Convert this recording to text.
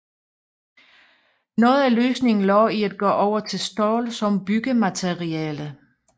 Noget af løsningen lå i at gå over til stål som byggemateriale